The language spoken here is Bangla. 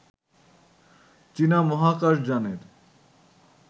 চীনা মহাকাশ যানের